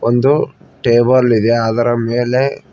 ಒಂದು ಟೇಬಲ್ ಇದೆ ಅದರ ಮೇಲೆ--